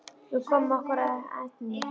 Við komum okkur ekki að efninu.